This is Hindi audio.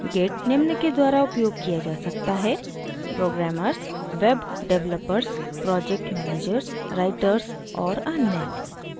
git निम्न के द्वारा उपयोग किया जा सकता है: * programmers web developers project managers writers लेखकों और अन्य